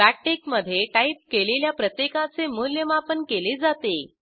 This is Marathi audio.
बॅकटिक मधे टाईप केलेल्या प्रत्येकाचे मूल्यमापन केले जाते